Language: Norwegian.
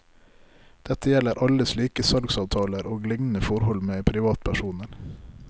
Dette gjelder alle slike salgsavtaler og lignende forhold med privatpersoner.